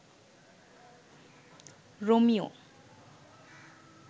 Romeo